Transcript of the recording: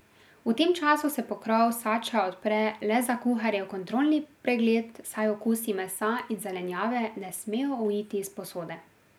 V tem času se pokrov sača odpre le za kuharjev kontrolni pregled, saj okusi mesa in zelenjave ne smejo uiti iz posode.